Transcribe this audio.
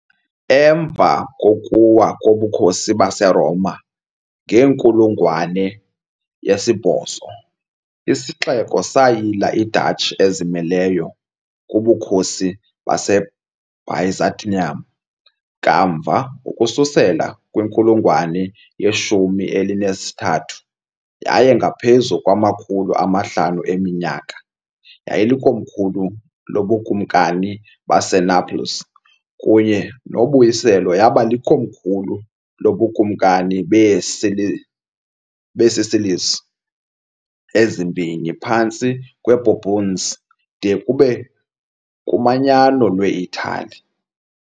Emva kokuwa koBukhosi baseRoma, ngenkulungwane ye-8 isixeko sayila i -duchy ezimeleyo kuBukhosi baseByzantium, kamva, ukususela kwinkulungwane ye-13 yaye ngaphezu kwamakhulu amahlanu eminyaka, yayilikomkhulu loBukumkani baseNaples, kunye noBuyiselo yaba likomkhulu loBukumkani beeSicilies ezimbini phantsi kweBourbons de kube kuManyano lweItali.